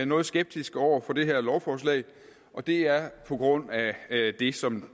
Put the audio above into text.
noget skeptiske over for det her lovforslag og det er på grund af det som